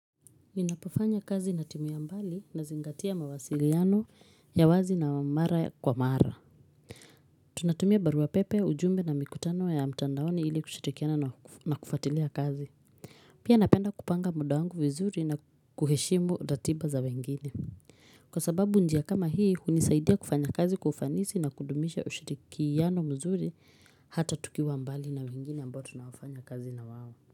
Ninapofanya kazi na timu ya mbali nazingatia mawasiliano ya wazi na mara kwa mara. Tunatumia baruapepe ujumbe na mikutano ya mtandaoni ili kushirikiana na kufatilia kazi. Pia napenda kupanga muda wangu vizuri na kuheshimu ratiba za wengine. Kwa sababu njia kama hii hunisaidia kufanya kazi kwa ufanisi na kudumisha ushirikiano mzuri hata tukiwa mbali na wengine ambao tunao fanya kazi na wao.